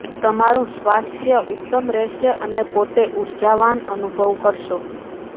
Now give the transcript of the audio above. તમારું સ્વાસ્થય ઉત્તમ રહેશે અને પોતે ઉર્જાવાન અનુભવ કરશો